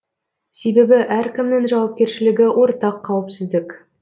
себебі әркімнің жауапкершілігі ортақ қауіпсіздік